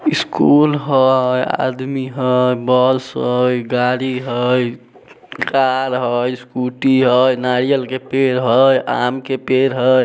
School हय आदमी हय बस हय गाड़ी हय । कार हय स्कूटी हय नारियल के पेड़ हय आम का पेड़ हेय ।